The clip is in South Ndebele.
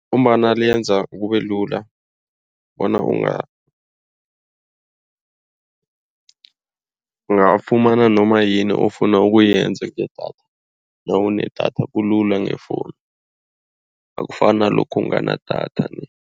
Ngombana liyenza kubelula bona ungafumana noma yini ofuna ukuyenza ngedatha. Nawunedatha kulula ngefowunu akufani nalokhu ungana idatha.